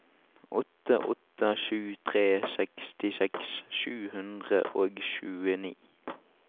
åtte åtte sju tre sekstiseks sju hundre og tjueni